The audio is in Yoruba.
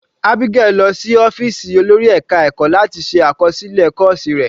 Abigail lọ sí ọ́fìsì olórí ẹka ẹ̀kọ́ láti ṣe àkọsílẹ̀ àwọn kọ́ọ̀sì rẹ̀.